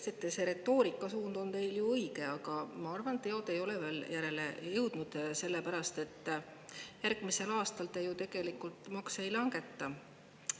Ma ütleks, et retoorika suund on teil õige, aga teod ei ole veel järele jõudnud, sellepärast et järgmisel aastal te ju tegelikult makse ei langeta.